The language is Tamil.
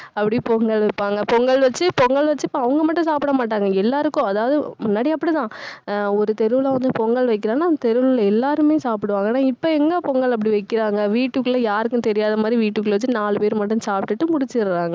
அப்படியே பொங்கல் வைப்பாங்க. பொங்கல் வச்சு பொங்கல் வச்சு அவங்க மட்டும் சாப்பிட மாட்டாங்க. எல்லாருக்கும் அதாவது முன்னாடி அப்படித்தான். ஆஹ் ஒரு தெருவுல வந்து, பொங்கல் வைக்கிறேன்னா அந்த தெருவுல எல்லாருமே சாப்பிடுவாங்க. ஆனா இப்ப எங்க பொங்கல் அப்படி வைக்கிறாங்க வீட்டுக்குள்ள யாருக்கும் தெரியாத மாதிரி வீட்டுக்குள்ள வச்சு நாலு பேர் மட்டும் சாப்பிட்டுட்டு முடிச்சுடுறாங்க.